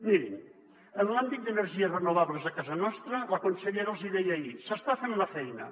mirin en l’àmbit d’energies renovables a casa nostra la consellera els hi deia ahir s’està fent la feina